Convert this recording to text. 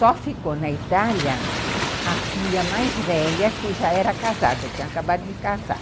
Só ficou na Itália a filha mais velha, que já era casada, tinha acabado de casar.